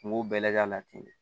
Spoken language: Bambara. Kungo bɛɛ lajɛlen ka na ten de